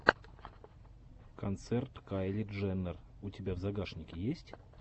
концерт кайли дженнер у тебя в загашнике есть